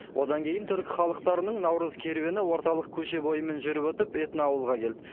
одан кейін түркі халықтарының наурыз керуені орталық көше бойымен жүріп өтіп этноауылға келді